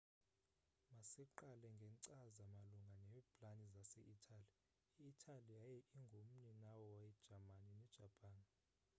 masiqale ngekcaza malunga neeplani zase italy i italy yaye ingu mninawa we jamani ne japan